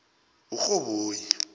urhoboyi